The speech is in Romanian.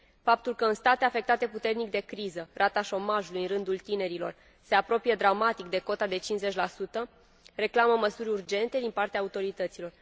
Faptul că în state afectate puternic de criză rata șomajului în rândul tinerilor se apropie dramatic de cota de 50 reclamă măsuri urgente din partea autorităților.